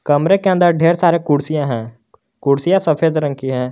कमरे के अंदर ढेर सारे कुर्सियां है कुर्सियां सफेद रंग की है।